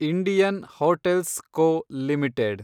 Indian Hotels Co limited